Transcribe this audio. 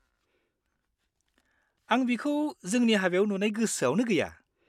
आं बिखौ जोंनि हाबायाव नुनाय गोसोआवनो गैया।